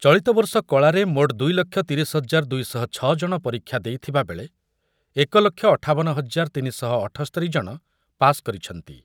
ଚଳିତ ବର୍ଷ କଳାରେ ମୋଟ୍ ଦୁଇ ଲକ୍ଷ ତିରିଶି ହଜାର ଦୁଇ ଶହ ଛ ଜଣ ପରୀକ୍ଷା ଦେଇଥିବା ବେଳେ ଏକ ଲକ୍ଷ ଅଠାବନ ହଜାର ତିନି ଶହ ଅଠସ୍ତରି ଜଣ ପାସ୍ କରିଛନ୍ତି ।